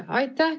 Aitäh!